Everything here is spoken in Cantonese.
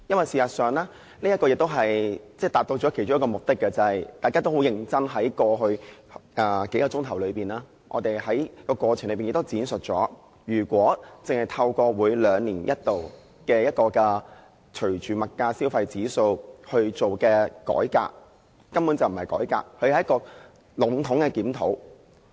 事實上，這次亦都達到其中一個目的，就是在過去數小時，大家都很認真地指出，只透過每兩年一度隨着消費物價指數進行的改革，根本不是改革，只是籠統的檢討。